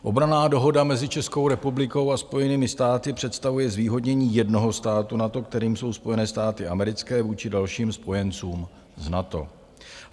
Obranná dohoda mezi Českou republikou a Spojenými státy představuje zvýhodnění jednoho státu NATO, kterým jsou Spojené státy americké, vůči dalším spojencům z NATO.